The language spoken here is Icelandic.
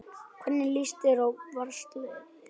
Hvernig lýst þér á Valsliðið?